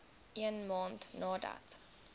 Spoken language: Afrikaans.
een maand nadat